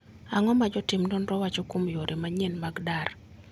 Ang'o ma jotim nonro wacho kuom yore manyien mag dar.